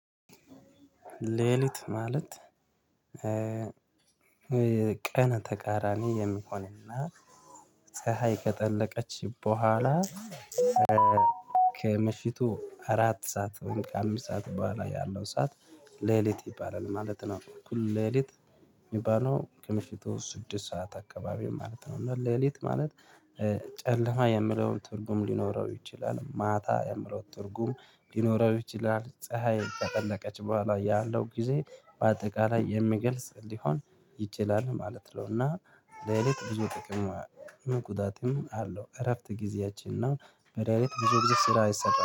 ሌሊት ማለት ቀን ተቃራኒ የሚሆንና ፀሀይ ከጠለቀች በኋላ ከምሽቱ አራት ሰዓት ወይም ከአምስት ሰዓት በኋላ ያለው ሰዓት ሌሊት ይባላል ማለት ነው። እኩል ሌሊት የሚባለው ከምሽቱ ስድስት ሰዓት አካባቢ ማለት ነው። እና ሌሊት ማለት ጨለማ የምለውን ትርጉም ሊኖረው ይችላል። ማታ የምለውን ትርጉም ሊኖረው ይችላል። ፀሀይ ከጠለቀች በኋላ ያለው ጊዜ በአጠቃላይ የሚገልጽ ሊሆን ይችላል ማለት ነው። እና ሌሊት ብዙ ጥቅም መቁጣጥም አለው እረፍት ጊዜያችን ነው በሌሊት ብዙ ብዙ ስራ አይሰራም